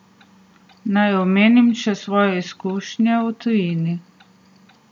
Naj omenim še svoje izkušnje v tujini.